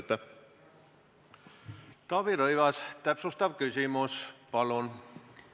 Taavi Rõivas, täpsustav küsimus, palun!